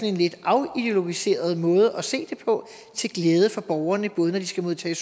en lidt afideologiseret måde at se det på til glæde for borgerne både når de skal modtage